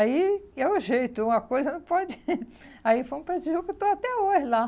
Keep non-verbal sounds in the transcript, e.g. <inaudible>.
Aí é o jeito, uma coisa não pode... <laughs> Aí fomos para Tijuca e estou até hoje lá.